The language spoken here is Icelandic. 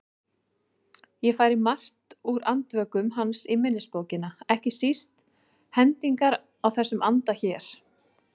Ég færi margt úr Andvökum hans í minnisbókina, ekki síst hendingar í þessum anda hér